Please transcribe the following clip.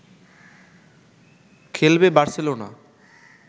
খেলবে বার্সেলোনা